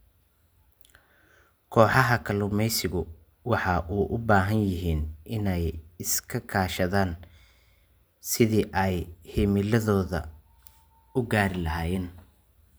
Kooxaha kalluumaysigu waxa ay u baahan yihiin in ay iska kaashadaan sidii ay himiladooda u gaadhi lahaayeen.